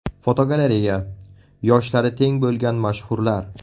Fotogalereya: Yoshlari teng bo‘lgan mashhurlar.